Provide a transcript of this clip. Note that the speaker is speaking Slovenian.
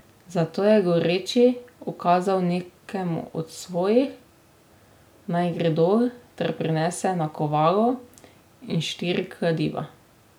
Zato je goreči ukazal nekemu od svojih, naj gre dol ter prinese nakovalo in štiri kladiva.